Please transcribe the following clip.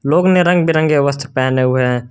लोग ने रंग बिरंगे वस्त्र पहने हुए हैं।